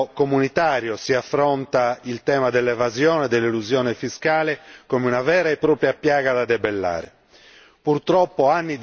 Finalmente anche a livello comunitario si affronta il tema dell'evasione e dell'elusione fiscale come una vera e propria piaga da debellare.